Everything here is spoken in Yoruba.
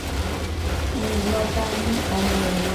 ń lọ bá mú ọmọ rẹ lọ